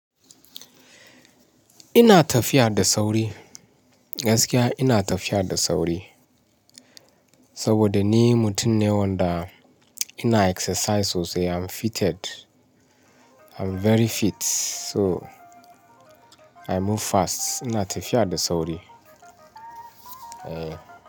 Ina tafiya da sauri. Gaskiya ina tafiya da sauri saboda ni mutum ne wanda ina exercise sosai. I'm fitted, I'm very fit so I move fast. Ina tafiya da sauri. Eh.